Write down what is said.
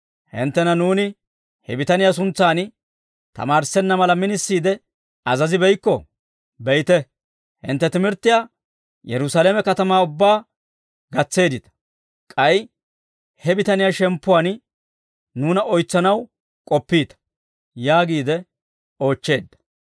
«Hinttentta nuuni he bitaniyaa suntsan tamaarissenna mala minisiide azazibeykkoo? Be'ite; hintte timirttiyaa Yerusaalame katamaa ubbaa gatseeddita; k'ay he bitaniyaa shemppuwaan nuuna oytsanaw k'oppiita!» yaagiide oochcheedda.